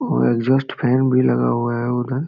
और exhaust fan भी लगा हुआ है उधर|